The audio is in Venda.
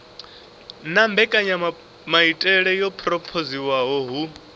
na mbekanyamaitele yo phurophoziwaho hu